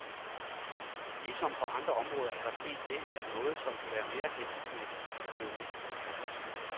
Ligesom på andre områder er der sket det, at noget, som kan være meget hensigtsmæssigt, er blevet misbrugt.